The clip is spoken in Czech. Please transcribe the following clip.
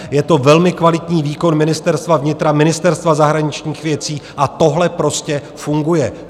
Je to velmi kvalitní výkon Ministerstva vnitra, Ministerstva zahraničních věcí a tohle prostě funguje.